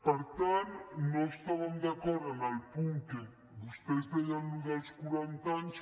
per tant no estàvem d’acord amb el punt en què vostès deien això dels quaranta anys